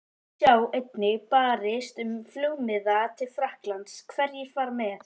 Sjá einnig: Barist um flugmiða til Frakklands- Hverjir fara með?